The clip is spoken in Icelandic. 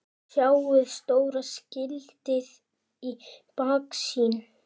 Sjáið stóra skiltið í baksýn.